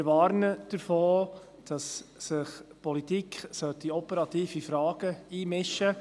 Wir warnen davor, dass sich die Politik in operative Fragen einmischt.